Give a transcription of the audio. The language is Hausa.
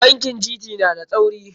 Bankin GT na da tsauri.